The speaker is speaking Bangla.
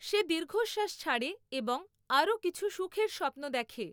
সে দীর্ঘশ্বাস ছাড়ে এবং আরো কিছু সুখের স্বপ্ন দেখে।